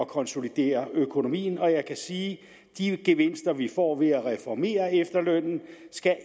konsolidere økonomien og jeg kan sige at de gevinster vi får ved at reformere efterlønnen